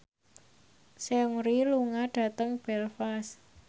Seungri lunga dhateng Belfast